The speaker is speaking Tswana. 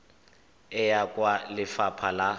e ya kwa lefapha la